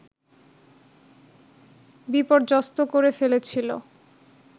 বিপর্যস্ত করে ফেলেছিল